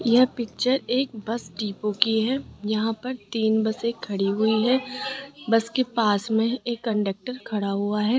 यह पिक्चर एक bus depot की है यहां पर तीन बसें खड़ी हुई है बस के पास में एक कंडक्टर खड़ा हुआ है।